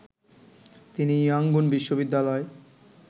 তিনি ইয়াংগুন বিশ্ববিদ্যালয়